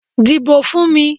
Dìbò fún mi!